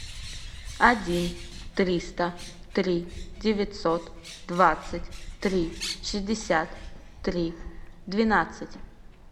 один триста три девятьсот двадцать три шестьдесят три двенадцать